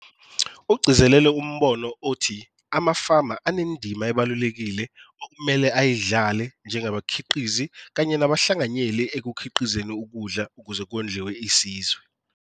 Ugcizelele umbono othi amafama anendima ebalulekile okumele ayidlale njengabakhiqizi kanye nabahlanganyeli ekukhiqizeni ukudla ukuze kondliwe isizwe.